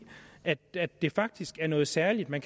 at det det faktisk er noget særligt at man